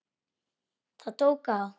Það tók á.